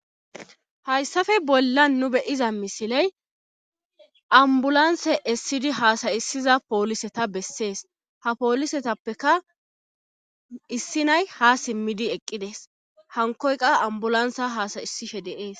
hayssafe bolla nu beyiza misiley ambulanse essidi haasayisiza pooliseta bessees ha poolisetappeka issinay ha simmidi eqqides hankoyqa ambulansa haasayisishe de7es